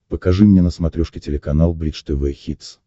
покажи мне на смотрешке телеканал бридж тв хитс